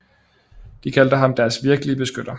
De kaldte ham deres virkelige beskytter